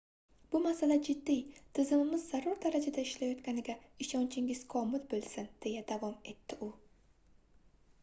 bu masala jiddiy tizimimiz zarur darajada ishlayotganiga ishonchingiz komil boʻlsin deya davom etdi u